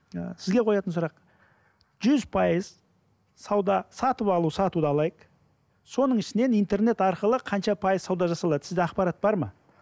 і сізге қоятын сұрақ жүз пайыз сауда сатып алу сатуды алайық соның ішінен интернет арқылы қанша пайыз сауда жасалады сізде ақпарат бар ма